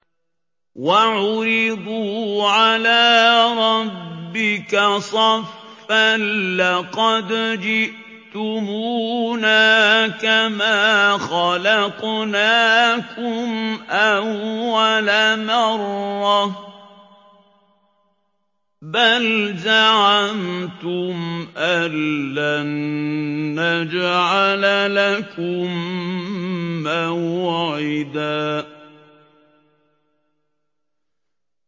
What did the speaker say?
وَعُرِضُوا عَلَىٰ رَبِّكَ صَفًّا لَّقَدْ جِئْتُمُونَا كَمَا خَلَقْنَاكُمْ أَوَّلَ مَرَّةٍ ۚ بَلْ زَعَمْتُمْ أَلَّن نَّجْعَلَ لَكُم مَّوْعِدًا